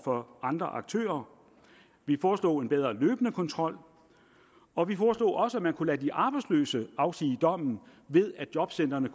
for andre aktører vi foreslog en bedre løbende kontrol og vi foreslog også at man kunne lade de arbejdsløse afsige dommen ved at jobcentrene